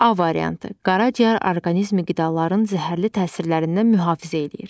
A variantı: Qaraciyər orqanizmi qidaların zəhərli təsirlərindən mühafizə eləyir.